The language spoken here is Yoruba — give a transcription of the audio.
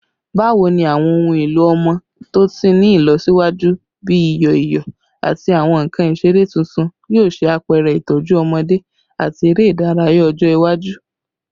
Bawo ni awọn ohun elo ọmọ to ti ni ilọsiwaju bi iyọ iyọ ati awọn nkan isere tuntun yoo ṣe apẹrẹ itọju ọmọde ati ere idaraya ọjọ iwaju?